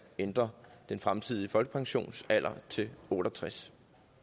ændre den fremtidige folkepensionsalder til otte og tres